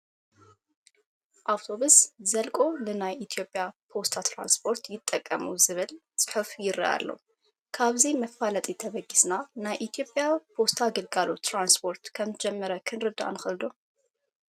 ኣውቶቡስ ዘለቆ ንናይ ኢትዮጵያ ፖስታ ትራንስፖርት ይጠቐሙ ዝብል ፅሑፍ ይርአ ኣሎ፡፡ ካብዚ መፋለጢ ተበጊስና ናይ ኢትዮጵያ ፖስታ ግልጋሎት ትራንስፖርት ከምዝጀመረ ክንርዳእ ንኽእል ዶ?